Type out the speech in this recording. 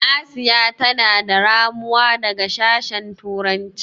Asiya tana da ramuya daga sashen turanci.